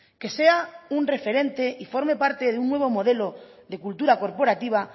que sea un referente y forme parte de un nuevo modelo de cultura corporativa